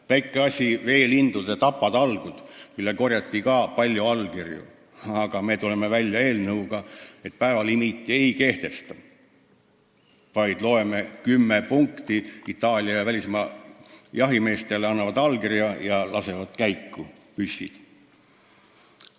Väike asi: veelindude tapatalgud, mille vastu korjati ka palju allkirju, aga me tuleme välja eelnõuga, et päevalimiiti ei kehtestata, vaid loeme Itaalia ja teistele välismaa jahimeestele ette kümme punkti, nad annavad allkirja ja lasevad püssid käiku.